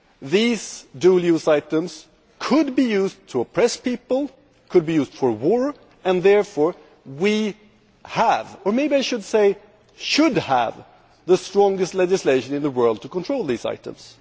These dual use items could be used to oppress people and could be used for war, and therefore we have or may I say we should have the strongest legislation in the world to control these items.